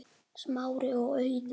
Smári og Auður.